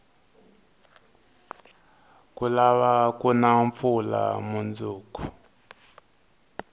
ku lava kuna mpfula munduku